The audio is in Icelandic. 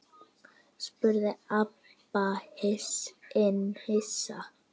spurði Abba hin hissa.